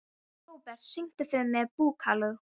Robert, syngdu fyrir mig „Búkalú“.